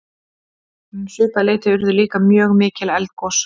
um svipað leyti urðu líka mjög mikil eldgos